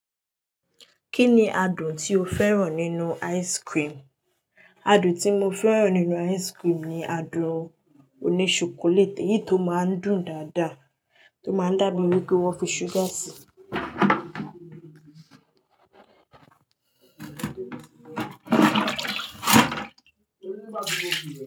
Kí ni adùn tí o fẹ́ràn nínú ice cream? Adùn tí mo fẹ́ràn nínú ice cream ni adùn òní ṣokoléìtì èyí tó máa ń dùn dáadáa, tó máa ń dàbí eni pé wón fi ṣúgà sí i.